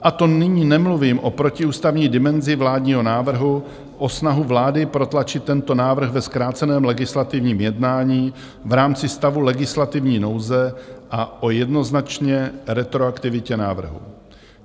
A to nyní nemluvím o protiústavní dimenzi vládního návrhu, o snahu vlády protlačit tento návrh ve zkráceném legislativním jednání v rámci stavu legislativní nouze a o jednoznačné retroaktivitě návrhu.